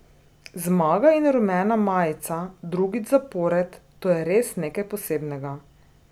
Zmaga in rumena majica drugič zapored, to je res nekaj posebnega.